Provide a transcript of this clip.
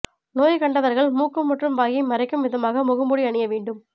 நோய் கண்டவர்கள் மூக்கு மற்றும் வாயை மறைக்கும் விதமாக முகமூடி அணிய வேண்டும்